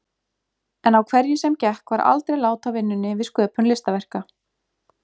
En á hverju sem gekk var aldrei lát á vinnunni við sköpun listaverka.